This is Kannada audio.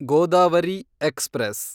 ಗೋದಾವರಿ ಎಕ್ಸ್‌ಪ್ರೆಸ್